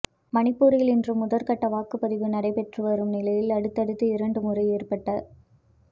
மணிப்பூரில் இன்று முதற்கட்ட வாக்குப் பதிவு நடைபெற்று வரும் நிலையில் அடுத்தடுத்து இரண்டு முறை ஏற்பட்ட